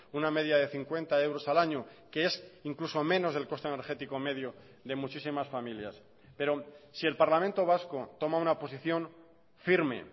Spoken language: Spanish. una media de cincuenta euros al año que es incluso menos del coste energético medio de muchísimas familias pero si el parlamento vasco toma una posición firme